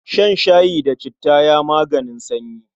Shan shayi da citta ya maganin sanyi.